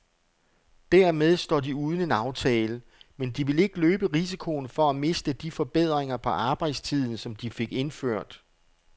Dermed står de uden en aftale, men de vil ikke løbe risikoen for at miste de forbedringer på arbejdstiden, som de fik indført.